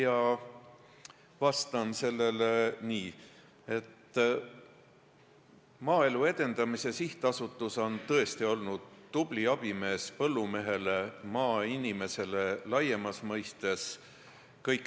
Ma vastan sellele nii, et Maaelu Edendamise Sihtasutus on tõesti olnud kõik need aastad tubli abimees põllumehele ja üldse maainimesele laiemas mõttes.